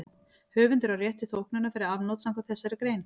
Höfundur á rétt til þóknunar fyrir afnot samkvæmt þessari grein.